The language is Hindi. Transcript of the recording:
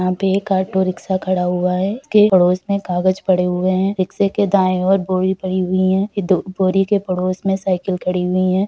यहाँ पे एक ऑटोरिक्शा खड़ा हुआ है| उसके पड़ोस में कागज पड़े हुए है| रिक्शे के दाएं ओर बोरी पड़ी हुई है दो बोरी के पड़ोस में साइकिल खड़ी हुई है।